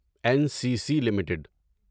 N C C limited